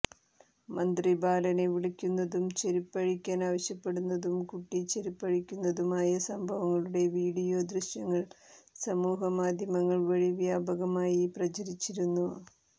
മന്ത്രി ബാലനെ വിളക്കുന്നതും ചെരിപ്പഴിക്കാൻ ആവശ്യപ്പെടുന്നതും കുട്ടി ചെരിപ്പഴിക്കുന്നതുമായ സംഭവങ്ങളുടെ വീഡിയോ ദൃശ്യങ്ങൾ സമൂഹമാധ്യമങ്ങൾ വഴി വ്യാപകമായി പ്രചരിച്ചിരുന്നു